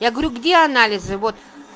я говорю где анализы вот